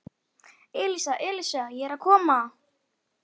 Elísa, Elísa, ég er að koma